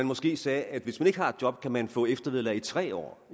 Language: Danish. måske sagde at hvis man ikke har et job kan man få eftervederlag i tre år